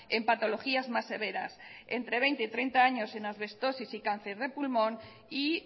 en patologías más severas entre veinte y treinta años en asbestosis y cáncer de pulmón y